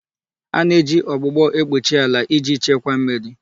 A na-eji ọgbụgbọ ekpuchi ala iji Chekwas mmiri.